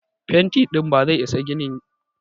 Fenti ɗin ba zai isa ginin ba.